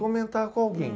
Comentar com alguém.